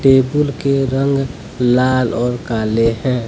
Table के रंग लाल और काले हैं।